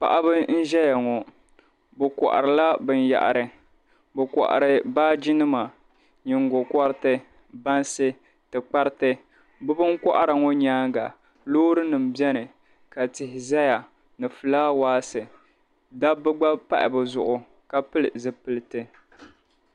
Paɣiba n-ʒeya ŋɔ bɛ kɔhirila binyɛhiri bɛ kɔhiri baajinima nyingɔkɔriti bansi tikpariti bɛ binkɔhira ŋɔ nyaaŋa loorinima beni ka tihi zaya ni fulaawaasi dabba gba pahi bɛ zuɣu ka pili zipiliti.